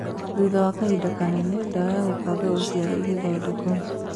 Thutha wa kahinda kanene, ndawa ya gũbanga ũciari ĩgĩthondekuo